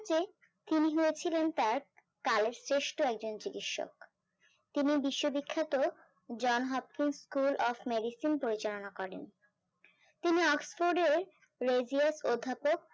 তিনি হয় ছিলেন তার একজন চিৎসক তিনি বিশ্ব বিখ্যাত যান হাত স্কুল অফ মেডিসিন পরিচালনা করেন তিনি অক্সফোর্ড ও রেজির অধ্যপক